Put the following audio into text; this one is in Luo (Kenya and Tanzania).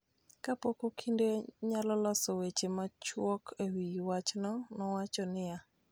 kapok okinde nyalo loso weche machuok e wi wachno, nowacho niya.